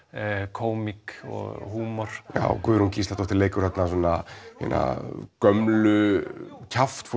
kómík og húmor Guðrún Gísladóttir leikur þarna hina gömlu